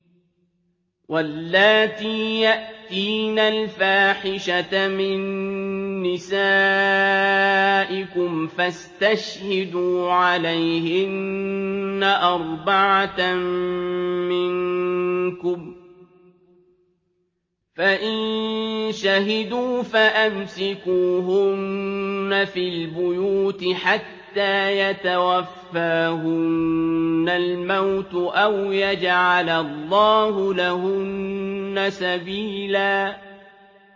وَاللَّاتِي يَأْتِينَ الْفَاحِشَةَ مِن نِّسَائِكُمْ فَاسْتَشْهِدُوا عَلَيْهِنَّ أَرْبَعَةً مِّنكُمْ ۖ فَإِن شَهِدُوا فَأَمْسِكُوهُنَّ فِي الْبُيُوتِ حَتَّىٰ يَتَوَفَّاهُنَّ الْمَوْتُ أَوْ يَجْعَلَ اللَّهُ لَهُنَّ سَبِيلًا